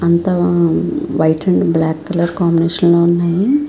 అంతా white and black colour combination లో వున్నాయి.